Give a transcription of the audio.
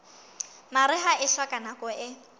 mariha e hloka nako e